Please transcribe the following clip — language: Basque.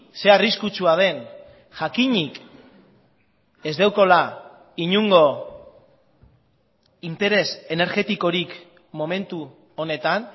ze arriskutsua den jakinik ez daukala inongo interes energetikorik momentu honetan